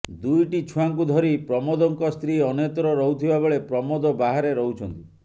ଦୁଇଟି ଛୁଆଙ୍କୁ ଧରି ପ୍ରମୋଦଙ୍କ ସ୍ତ୍ରୀ ଅନ୍ୟତ୍ର ରହୁଥିବା ବେଳେ ପ୍ରମୋଦ ବାହାରେ ରହୁଛନ୍ତି